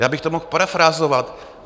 Já bych to mohl parafrázovat.